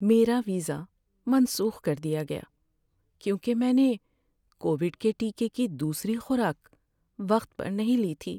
میرا ویزا منسوخ کر دیا گیا کیونکہ میں نے کووڈ کے ٹیکے کی دوسری خوراک وقت پر نہیں لی تھی۔